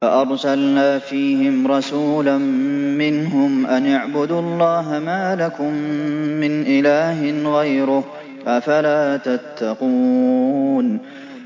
فَأَرْسَلْنَا فِيهِمْ رَسُولًا مِّنْهُمْ أَنِ اعْبُدُوا اللَّهَ مَا لَكُم مِّنْ إِلَٰهٍ غَيْرُهُ ۖ أَفَلَا تَتَّقُونَ